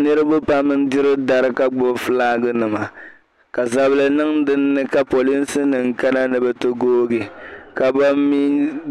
Niriba n-diri dari ka ɡbubi fulaaɡinima ka zabili niŋ dinni ka polinsinima kana ni bɛ ti ɡooɡi ka ban mi